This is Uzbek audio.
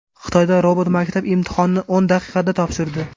Xitoyda robot maktab imtihonini o‘n daqiqada topshirdi.